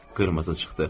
Qırmızı çıxdı.